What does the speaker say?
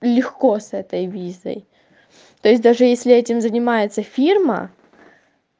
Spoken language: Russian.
легко с этой визой то есть даже если этим занимается фирма